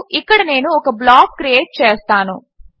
మరియు ఇక్కడ నేను ఒక బ్లాక్ క్రియేట్ చేస్తాను